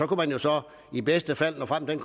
kunne jo så i bedste fald nå frem til